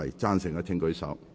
贊成的請舉手。